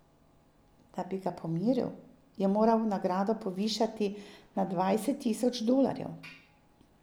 Da bi ga pomiril, je moral nagrado povišati na dvajset tisoč dolarjev.